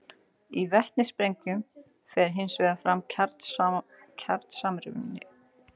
Í vetnissprengjum fer hins vegar fram kjarnasamruni.